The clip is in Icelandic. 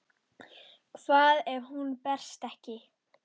Hvað ef hún berst ekki?